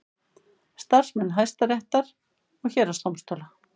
Starfsmanna Hæstaréttar og héraðsdómstóla.